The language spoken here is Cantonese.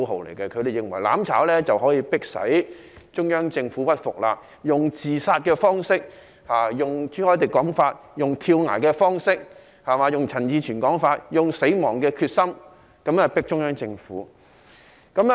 他們認為自殺式的"攬炒"可以迫使中央政府屈服，根據朱凱廸議員的說法，是用跳崖方式，根據陳志全議員的說法，是用死亡的決心，脅迫中央政府。